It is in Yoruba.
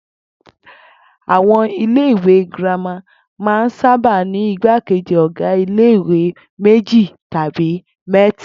Àwo̩n ilé ìwé girama máa ń saba ní ìgbákejì ò̩gá ilé ìwé méjì tàbí mé̩ta